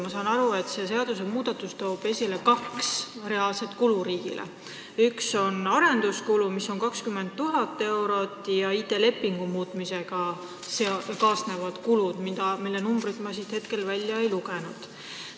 Ma saan aru, et see seadusmuudatus toob riigile kaasa kaks reaalset kulu: esiteks, arenduskulud, mis on 20 000 eurot, ja teiseks, ID-lepingu muutmisega kaasnevad kulud, mille suurust ma siit välja ei lugenud.